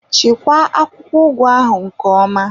Chekwaa akwụkwọ ugu ahụ nke ọma!